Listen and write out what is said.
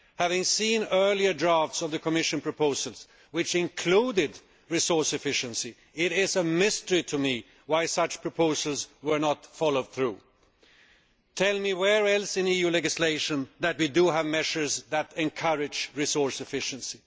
Having seen earlier drafts of the Commission proposals which included resource efficiency, it is a mystery to me why such proposals were not followed through. Tell me, where else in EU legislation do we have measures that encourage resource efficiency?